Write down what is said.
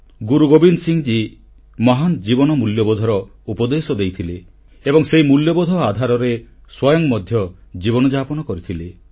ଗୁରୁ ଗୋବିନ୍ଦ ସିଂ ମହାନ ଜୀବନ ମୂଲ୍ୟବୋଧର ଉପଦେଶ ଦେଇଥିଲେ ଏବଂ ସେହି ମୂଲ୍ୟବୋଧ ଆଧାରରେ ସ୍ୱୟଂ ମଧ୍ୟ ଜୀବନଯାପନ କରିଥିଲେ